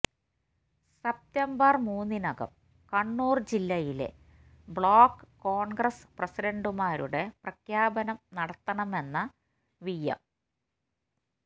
September മൂന്നിനകം കണ്ണൂർ ജില്ലയിലെ block Congress പ്രസിഡന്റുമാരുടെ പ്രഖ്യാപനം നടത്തണമെന്ന വി എം